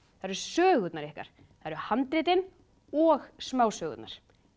það eru sögurnar ykkar það eru handritin og smásögurnar